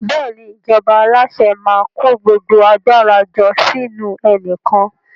Bẹ́ẹ̀ni, ìjọba alase maa ko gbogbo agbara jo sinu enikan